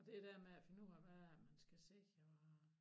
Og det der med at finde ud af hvad man skal se og